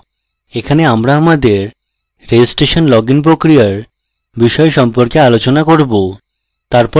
এখানে আমরা আমাদের registration login প্রক্রিয়ার বিষয় সম্পর্কে আলোচনা করব